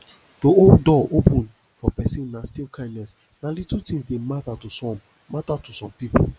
to hold door open for persin na still kindness na little things de matter to some matter to some pipo